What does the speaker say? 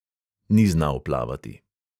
Ni znal plavati.